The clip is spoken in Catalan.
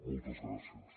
moltes gràcies